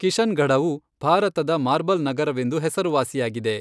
ಕಿಶನ್ಗಢವು ಭಾರತದ ಮಾರ್ಬಲ್ ನಗರವೆಂದು ಹೆಸರುವಾಸಿಯಾಗಿದೆ.